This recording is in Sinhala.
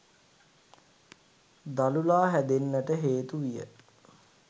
දළුලා හැදෙන්නට හේතු විය.